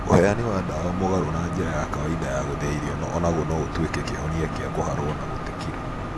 ũheani wa ndawa mũgarũ na njĩra ya kawaida ya gũthĩa irio onaguo noũtuĩke kĩhonia gĩa kũharwo na gũte kirũ